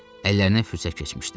Əllərinə fürsət keçmişdi.